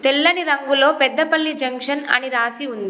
తెల్లని రంగులో పెద్దపల్లి జంక్షన్ అని రాసి ఉంది.